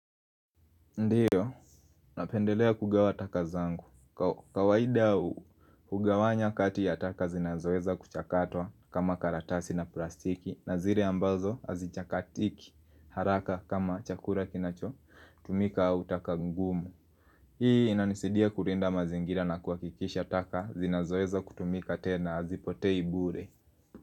Ndiyo, napendelea kugawa taka zangu. Kawaida hugawanya kati ya taka zinazoweza kuchakatwa kama karatasi na plastiki na zile ambazo azichakatiki haraka kama chakula kinacho tumika au taka ngumu. Hii inanisaidia kurinda mazingira na kuhakikisha taka zinazoweza kutumika tena hazipotei bure.